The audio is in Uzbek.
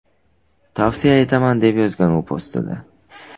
Tavsiya etaman”, deb yozgan u postida.